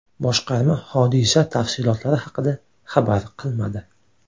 Boshqarma hodisa tafsilotlari haqida xabar qilmadi.